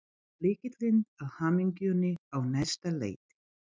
Lykillinn að hamingjunni á næsta leiti.